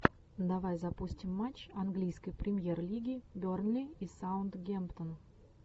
давай запустим матч английской премьер лиги бернли и саутгемптон